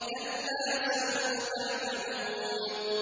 كَلَّا سَوْفَ تَعْلَمُونَ